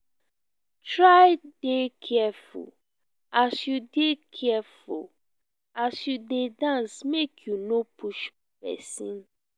try de careful as you careful as you de dance make you no push persin